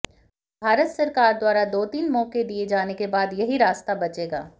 भारत सरकार द्वारा दो तीन मौके दिए जाने के बाद यही रास्ता बचेगा